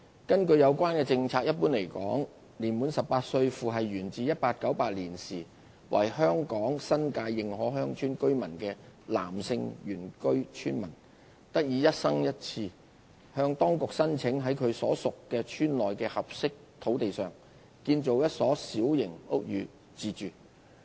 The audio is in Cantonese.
根據有關政策，一般來說，年滿18歲，父系源自1898年時為香港新界認可鄉村居民的男性原居村民，得以一生人一次向當局申請，在其所屬鄉村內的合適土地上建造一所小型屋宇自住。